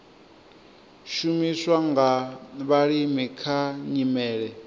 shumiswa nga vhalimi kha nyimele